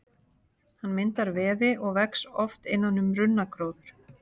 Hann myndar vefi og vex oft innan um runnagróður.